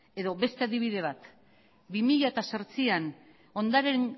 edo beste adibide bat bi mila zortzian